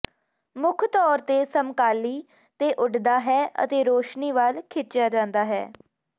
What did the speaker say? ਮੁੱਖ ਤੌਰ ਤੇ ਸਮਕਾਲੀ ਤੇ ਉੱਡਦਾ ਹੈ ਅਤੇ ਰੋਸ਼ਨੀ ਵੱਲ ਖਿੱਚਿਆ ਜਾਂਦਾ ਹੈ